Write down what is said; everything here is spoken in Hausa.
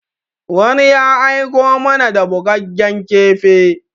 Wani ya aiko mana da bugaggen kifi.